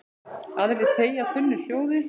Aðrir þegja þunnu hljóði.